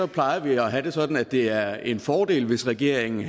plejer vi at have det sådan at det er en fordel hvis regeringen